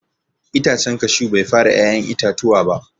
Itacen cashew Bai fara ya'yan itatuwa ba.